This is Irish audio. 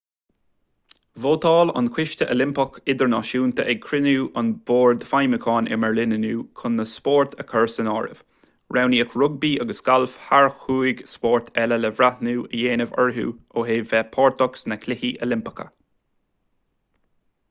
vótáil an coiste oilimpeach idirnáisiúnta ag cruinniú a bhoird feidhmiúcháin i mbeirlín inniu chun na spóirt a chur san áireamh roghnaíodh rugbaí agus galf thar chúig spórt eile le breithniú a dhéanamh orthu ó thaobh bheith páirteach sna cluichí oilimpeacha